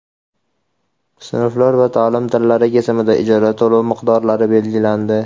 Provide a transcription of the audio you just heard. sinflar va ta’lim tillari kesimida ijara to‘lovi miqdorlari belgilandi.